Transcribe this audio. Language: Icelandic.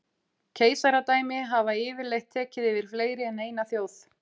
Keisaradæmi hafa yfirleitt tekið yfir fleiri en eina þjóð.